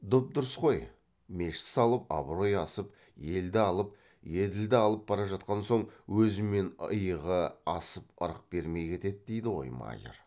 дұп дұрыс қой мешіт салып абырой асып елді алып еділді алып бара жатқан соң өзімен иығы асып ырық бермей кетеді дейді ғой майыр